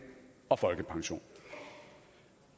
og folkepension